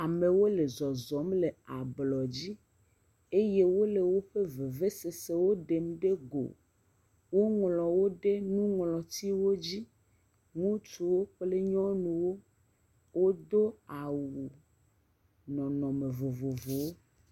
Amewo le zɔzɔm le ablɔdzi eye wole woƒe vevesesewo ɖem ɖe go. Woŋlɔ wo ɖe nuŋlɔtiwo dzi. Ŋutsuwo kple nyɔnuwo wodo awu nɔnɔme vovovowo.